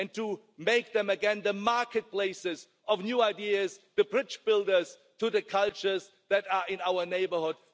Why not make them again the marketplaces of new ideas, the bridge builders to the cultures in our neighbourhood?